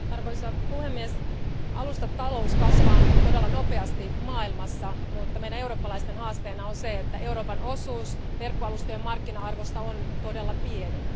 Arvoisa puhemies, alustatalous kasvaa nyt todella nopeasti maailmassa, mutta meidän eurooppalaisten haasteena on se, että Euroopan osuus verkkoalustojen markkina arvosta on todella pieni.